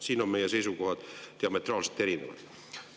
Siin on meie seisukohad diametraalselt erinevad.